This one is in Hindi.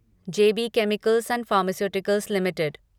J B chemicals and pharmaceuticals limited